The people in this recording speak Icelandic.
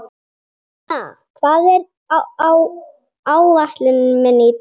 Sigurlína, hvað er á áætluninni minni í dag?